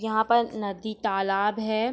यहाँ पर नदी तालाब है।